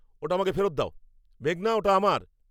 ওটা আমাকে ফেরত দাও, মেঘনা। ওটা আমার!